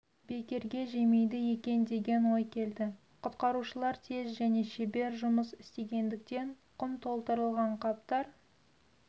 бекерге жемейді екен деген ой келді құтқарушылар тез және шебер жұмыс істегендіктен құм толтырылған қаптар